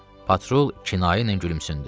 Patrul kinayə ilə gülümsündü.